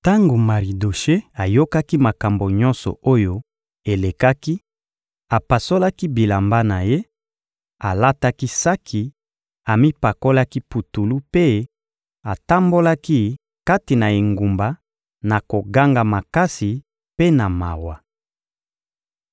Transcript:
Tango Maridoshe ayokaki makambo nyonso oyo elekaki, apasolaki bilamba na ye; alataki saki, amipakolaki putulu mpe atambolaki kati na engumba na koganga makasi mpe na mawa.